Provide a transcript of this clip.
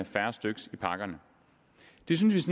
færre styk i pakkerne det synes